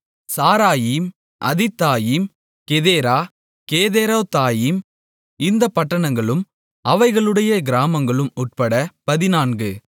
சாராயீம் அதித்தாயீம் கெதேரா கேதெரொத்தாயீம் இந்தப் பட்டணங்களும் அவைகளுடைய கிராமங்களும் உட்பட பதினான்கு